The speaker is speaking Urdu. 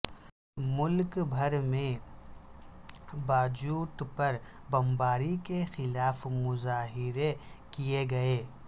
ملک بھر میں باجوڑ پر بمباری کے خلاف مظاہرے کیے گئے